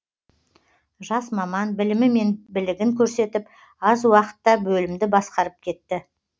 жас маман білімі мен білігін көрсетіп аз уақытта бөлімді басқарып кетті